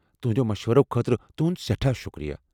تہنٛدٮ۪یو مشورو خٲطرٕ تُہُند سیٹھاہ شُكریہ ۔